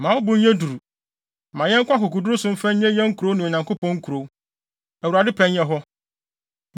Ma wo bo nyɛ duru. Ma yɛnko akokoduru so mfa nnye yɛn nkurɔfo ne Onyankopɔn nkurow. Awurade pɛ nyɛ hɔ.”